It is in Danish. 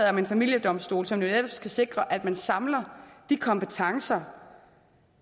om en familiedomstol som netop skal sikre at man samler kompetencerne